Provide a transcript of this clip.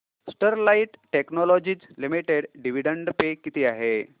Sterlite technologies limited dividend pay किती आहे